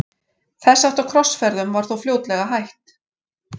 Þess háttar krossferðum var þó fljótlega hætt.